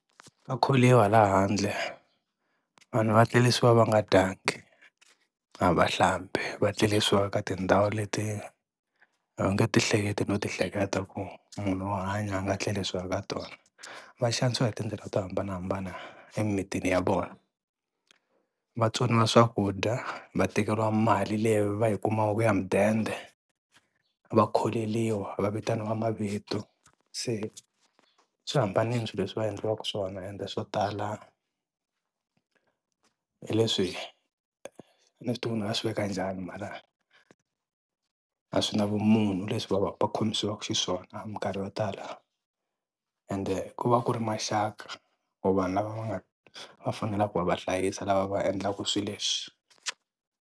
Ka kholiwa la handle vanhu vatlerisiwa va nga dyanga, a va hlambi, va tlerisiwa ka tindhawu leti a wu nge ti hleketi no ti hleketa ku munhu wo hanya a nga tlerisiwa ka tona, va xanisiwa hi tindlela to hambanahambana emitini ya vona, vatsoniwa swakudya, va tekeriwa mali leyi va yi kumaka ya mudende, va kholeriwa va vitaniwa mavito, se swi hambanile swilo leswi va endliwaka swona ende swo tala hi leswi a ni swi tivi ku ni nga swi veka njhani mara a swi na vumunhu leswi va va va khomisiwaka xiswona hi minkarhi yo tala ende ku va ku ri maxaka or vanhu lava va nga va fanelaka ku va hlayisa lava va endlaka swilo leswi.